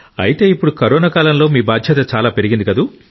అయితే ఇప్పుడు కరోనా కాలంలో మీ బాధ్యత చాలా పెరిగింది